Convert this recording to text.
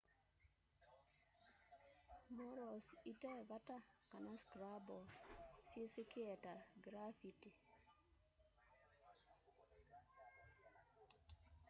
murals ite vata kana scribble syisikie ta grafiti